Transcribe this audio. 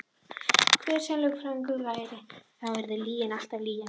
Hver sem lögfræðingurinn væri þá yrði lygin alltaf lygi.